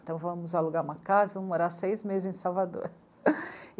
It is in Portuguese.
Então, vamos alugar uma casa e vamos morar seis meses em Salvador.